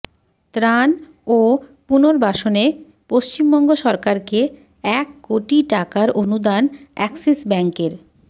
ত্রাণ ও পুনর্বাসনে পশ্চিমবঙ্গ সরকারকে এক কোটি টাকার অনুদান অ্যাক্সিস ব্যাঙ্কের